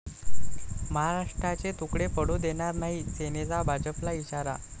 महाराष्ट्राचे तुकडे पडू देणार नाही, सेनेचा भाजपला इशारा